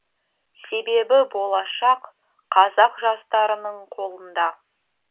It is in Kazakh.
себебі болашақ қазақ жастарының қолында